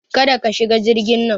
Kada ka shiga jirgin nan!